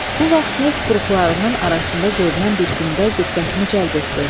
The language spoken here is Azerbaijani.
Bu vaxt neft buruqlarının arasında görünən bir günbəz diqqətimi cəlb etdi.